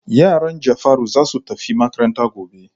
Yaran Jafaru za su tafi makaranta gobe.